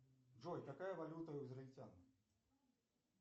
джой какая валюта у израильтян